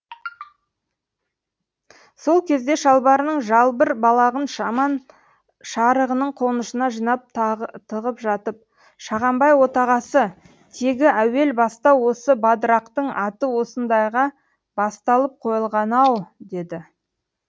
сол кезде шалбарының жалбыр балағын жаман шарығының қонышына жинап тығып жатып шағанбай отағасы тегі әуел баста осы бадырақтың аты осындайға басталып қойылған ау деді